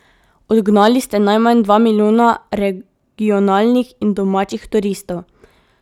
Odgnali ste najmanj dva milijona regionalnih in domačih turistov.